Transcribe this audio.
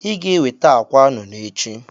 Iga eweta akwa nụnụ echi.